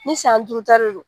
Ni san duuru ta de don